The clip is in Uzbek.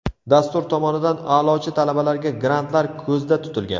Dastur tomonidan a’lochi talabalarga grantlar ko‘zda tutilgan.